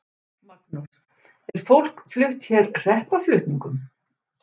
Magnús: Er fólk flutt hér hreppaflutningum?